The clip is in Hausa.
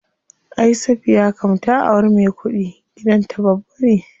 Ay Safiya kam ta auri me kuɗi, gidan ta babba ne.